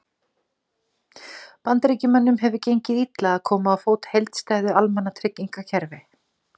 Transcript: Bandaríkjamönnum hefur gengið illa að koma á fót heildstæðu almannatryggingakerfi.